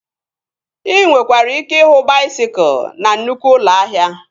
Ị nwekwara ike ịhụ baisikụl na nnụkwụ ụlọ ahịa